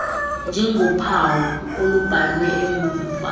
njengophawu olubhalwe mva